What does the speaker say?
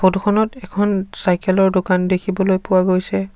Photo খনত এখন cycle ৰ দোকান দেখিবলৈ পোৱা গৈছে।